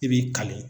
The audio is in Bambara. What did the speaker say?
I b'i kale